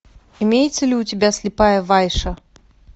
имеется ли у тебя слепая вайша